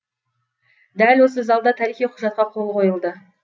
дәл осы залда тарихи құжатқа қол қойылды